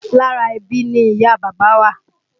Lára ẹbí ni ìyá a bàbá wà